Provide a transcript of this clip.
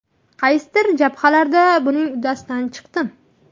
Qaysidir jabhalarda buning uddasidan chiqdim.